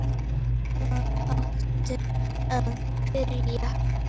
Hvar áttu að byrja?